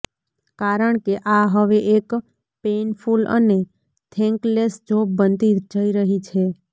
કારણ કે આ હવે એક પેઈનફુલ અને થેન્કલેસ જોબ બનતી જઈ રહી છે